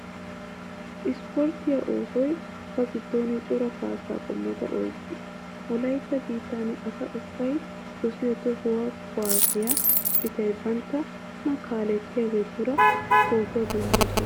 Ispportte oosoy ba giddon cora kaassaa qommota oyqqees. Wolaytta biittan asa ubbay dosiyo tohuwa kuwassiya citay banttana kaalettiyaageetura pootuwa denddoosona.